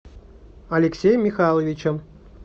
алексеем михайловичем